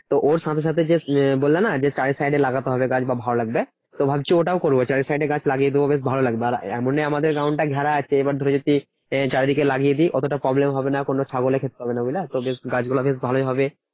তো ওর সাথে সাথে যে বললে না যে চারি side এ লাগাতে হবে গাছ ভালো লাগবে। তো ভাবছি ওটাও করবো চারি side এ গাছ লাগিয়ে দেব বেশ ভালো লাগবে আর এমনি আমাদের ground টা ঘেরা আছে এবার ধরো যদি এ চারিদিকে লাগিয়ে দি অতটা problem হবে না। কোনো ছাগলে খেতে পারবে না বুঝলা তো বেশ গাছগুলো বেশ ভালোই হবে।